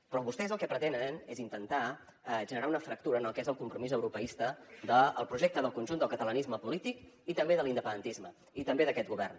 però vostès el que pretenen és intentar generar una fractura en el que és el compromís europeista del projecte del conjunt del catalanisme polític i també de l’independentisme i també d’aquest govern